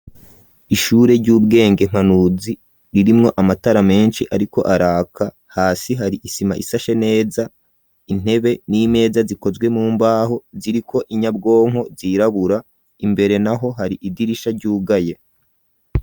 Ishure ry'ubwenge mpanuzi ririmwo amatara menshi ariko araka hasi hari isima isashe neza intebe n'imeza zikozwe mumbaho ziriko inyabwonko zirabura, imbere naho hari idirisha ryugaye.